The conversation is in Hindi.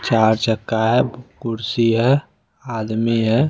चार चक्का है कुर्सी है आदमी है।